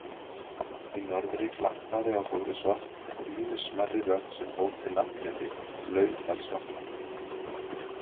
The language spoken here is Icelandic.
Í norðri glampaði á Þórisvatn og ýmis smærri vötn sem bóndinn nafngreindi: Laufdalsvatn